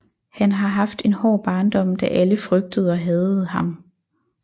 Han har haft en hård barndom da alle frygtede og hadede ham